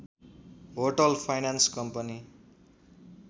hotel finance company